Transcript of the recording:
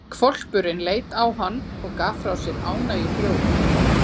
Hvolpurinn leit á hann og gaf frá sér ánægjuhljóð.